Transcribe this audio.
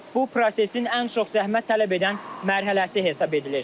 Bu prosesin ən çox zəhmət tələb edən mərhələsi hesab edilir.